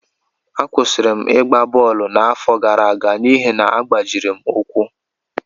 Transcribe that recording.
Akwụsịrị m ịgba bọọlụ n’afọ gara aga n’ihi na agbajiri m ụkwụ